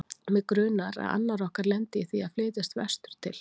Mig grunar, að annar okkar lendi í því að flytjast vestur til